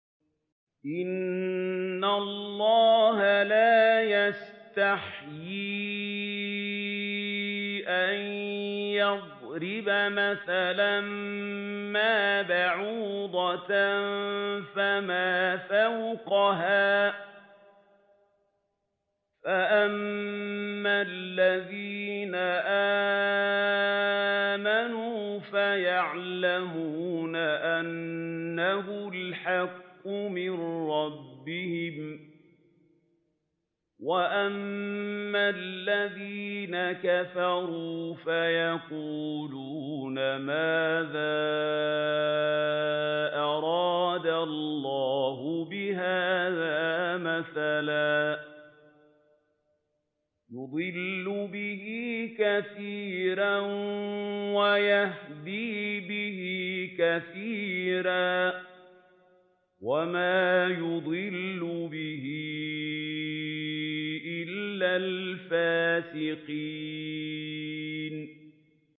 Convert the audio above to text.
۞ إِنَّ اللَّهَ لَا يَسْتَحْيِي أَن يَضْرِبَ مَثَلًا مَّا بَعُوضَةً فَمَا فَوْقَهَا ۚ فَأَمَّا الَّذِينَ آمَنُوا فَيَعْلَمُونَ أَنَّهُ الْحَقُّ مِن رَّبِّهِمْ ۖ وَأَمَّا الَّذِينَ كَفَرُوا فَيَقُولُونَ مَاذَا أَرَادَ اللَّهُ بِهَٰذَا مَثَلًا ۘ يُضِلُّ بِهِ كَثِيرًا وَيَهْدِي بِهِ كَثِيرًا ۚ وَمَا يُضِلُّ بِهِ إِلَّا الْفَاسِقِينَ